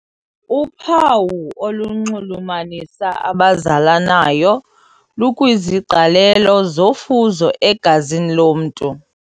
Uphawu olunxulumanisa abazalanayo lukwiziqalelo zofuzo egazini lomntu.